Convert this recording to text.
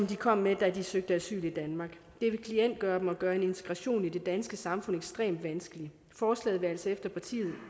de kom med da de søgte asyl i danmark det vil klientgøre dem og gøre en integration i det danske samfund ekstremt vanskeligt forslaget vil altså efter